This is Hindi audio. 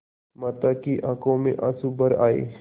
माता की आँखों में आँसू भर आये